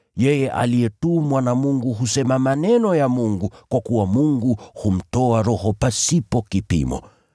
Yeye aliyetumwa na Mungu husema maneno ya Mungu, kwa kuwa Mungu humtoa Roho pasipo kipimo.